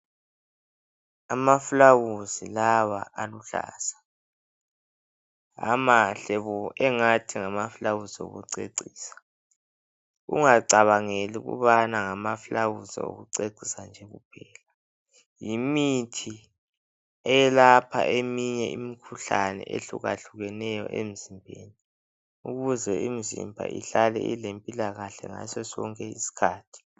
Amafulawuzi lawa aluhlaza. Amahle bo! ingathi ngamafulawuzi okucecisa .Ungacabangeli ukubana ngamafulawuzi okucecisa nje kuphela Yimithi eyelapha eminye imikhuhlane eyehlukahlukeneyo emzimbeni ukuze imzimba ihlale ilrmpila kahle ngasosonke isikhathi